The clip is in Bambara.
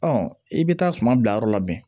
i bɛ taa suma bila yɔrɔ labɛn